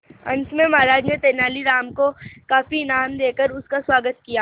अंत में महाराज ने तेनालीराम को काफी इनाम देकर उसका स्वागत किया